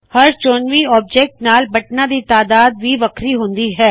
ਹਰ ਚੋਣਵੀ ਵਸਤੂ ਨਾਲ ਬਟਨਾੰ ਦੀ ਤਾਦਾਦ ਵੀ ਵੱਖਰੀ ਹੁਂਦੀ ਹੈ